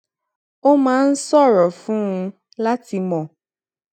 ó máa ń ṣòro fún un láti mọ